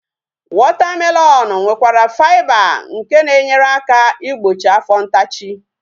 Wọta melọnu nwekwara faiba nke na-enyere aka igbochi afọ ntachi